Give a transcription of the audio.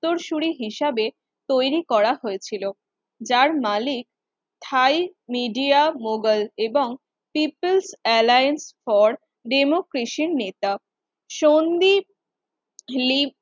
উত্তরসূরি হিসাবে তৈরি করা হয়েছিল, যার মালিক থাই মিডিয়া মোগল এবং পিপলস অ্যালায়েন্স ফর ডেমোক্রেসির নেতা সোন্দি লিম